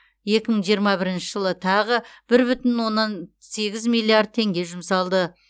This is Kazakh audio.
екі мың жиырма бірінші жылы тағы бір бүтін оннан сегіз миллиард теңге жұмсалды